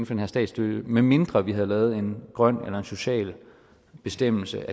den her statsstøtte medmindre vi havde lavet en grøn eller social bestemmelse